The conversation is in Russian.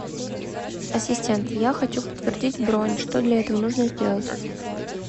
ассистент я хочу подтвердить бронь что для этого нужно сделать